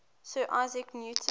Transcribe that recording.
sir isaac newton